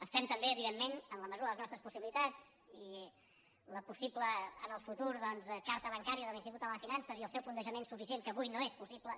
estem també evidentment en la mesura de les nos·tres possibilitats i la possible en el futur carta ban·cària de l’institut català de finances i el seu fonde·jament suficient que avui no és possible